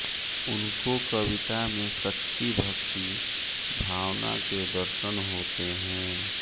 उनको कविता में सच्ची भक्ति भावना के दर्शन होते हैं